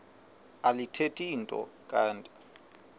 alithethi nto kanti